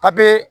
Papiye